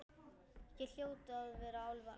Hér hljóta að vera álfar.